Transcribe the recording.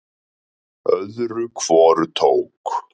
Öðru hvoru tók